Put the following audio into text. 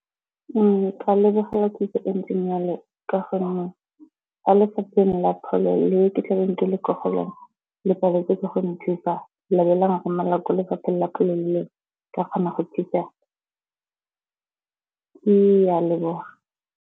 Ke ka lebogela kitso e ntseng jalo ka gonne kwa lefapheng la pholo le ke tlabeng ke le ko go lona le paletswe ke go nthusa, la be la nromelela ko lefapheng la pholo le lengwe ke kgona go tlisa ke a leboga.